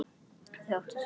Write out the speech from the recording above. Þau áttu saman einn son.